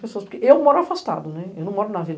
Porque eu moro afastado, eu não moro na vila.